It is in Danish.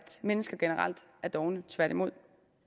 mennesker generelt er dovne tværtimod